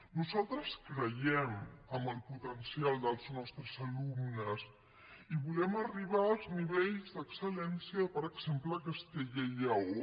nosaltres creiem en el potencial dels nostres alumnes i volem arribar als nivells d’excel·lència per exemple de castella i lleó